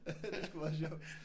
Det er sgu meget sjovt